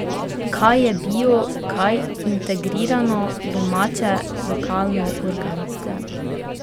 Kaj je bio, kaj integrirano, domače, lokalno, organsko?